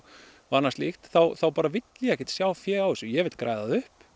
og annað slíkt þá bara vil ég ekkert sjá fé á þessu ég vil græða það upp